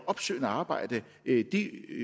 opsøgende arbejde i det